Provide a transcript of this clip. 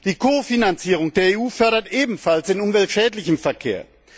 Die Kofinanzierung der EU fördert ebenfalls den umweltschädlichen Verkehr.